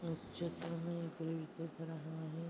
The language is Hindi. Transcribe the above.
इस चित्र में कोई --